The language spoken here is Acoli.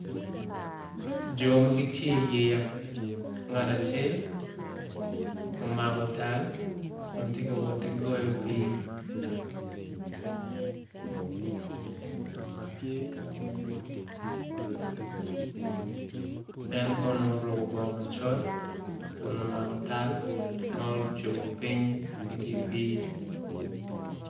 Jo ma gitye i yeya ngat acel omako tal kun ti ka woti goyo pii en kono oruku bongo macol kun omako tal ma ocubu piny idyer pii